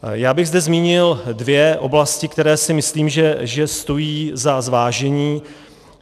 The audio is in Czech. Já bych zde zmínil dvě oblasti, které si myslím, že stojí za zvážení.